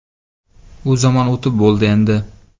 U zamon o‘tib bo‘ldi endi.